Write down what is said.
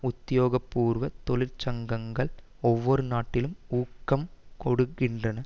உத்தியோக பூர்வ தொழிற்சங்கங்கள் ஒவ்வொரு நாட்டிலும் ஊக்கம் கொடுக்கின்றன